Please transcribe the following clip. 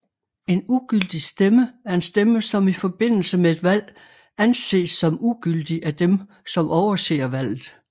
En ugyldig stemme er en stemme som i forbindelse med et valg anses som ugyldig af dem som overser valget